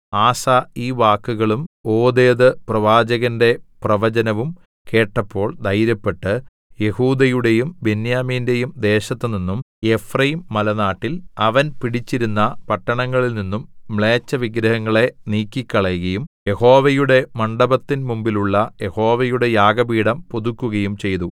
ആസാ ഈ വാക്കുകളും ഓദേദ് പ്രവാചകന്റെ പ്രവചനവും കേട്ടപ്പോൾ ധൈര്യപ്പെട്ട് യെഹൂദയുടെയും ബെന്യാമീന്റെയും ദേശത്തുനിന്നും എഫ്രയീംമലനാട്ടിൽ അവൻ പിടിച്ചിരുന്ന പട്ടണങ്ങളിൽനിന്നും മ്ലേച്ഛവിഗ്രഹങ്ങളെ നീക്കിക്കളകയും യഹോവയുടെ മണ്ഡപത്തിൻമുമ്പിലുള്ള യഹോവയുടെ യാഗപീഠം പുതുക്കുകയും ചെയ്തു